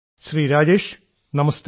Shri Rajesh നമസ്തേ